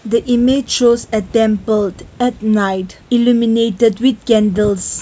the image shows at them build at night alumini with candles.